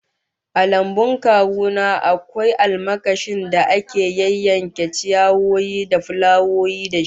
A lambun kawu na akwai almakashin da ake yayyanke ciyawa da fulawoyi da shi